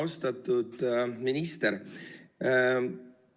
Austatud minister!